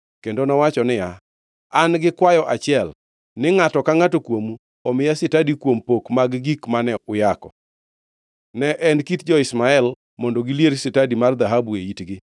Kendo nowacho niya, “An-gi kwayo achiel, ni ngʼato ka ngʼato kuomu omiya stadi kuom pok mag gik mane uyako.” Ne en kit jo-Ishmael mondo gilier stadi mar dhahabu e itgi.